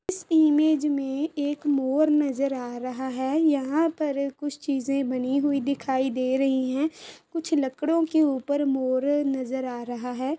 इस इमेज में एक मोर नजर आ रहा है | यहाँ पर कुछ चीजे बनी हुई दिखाई दे रही है | कुछ लकड़ों के ऊपर मोर नजर आ रहा है।